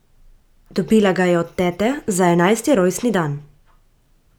Dobila ga je od tete za enajsti rojstni dan.